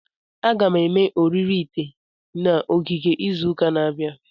Aga m eme oriri ite na ogige izu ụka na-abịa.